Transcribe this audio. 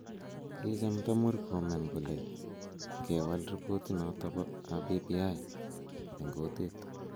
Kichamta Murkomen kole kewal ripotit noto ab BBI eng kutit